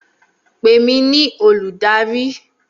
Pè mí ní olùdarí!